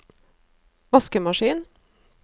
vaskemaskin